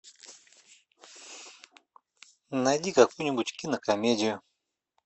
найди какую нибудь кинокомедию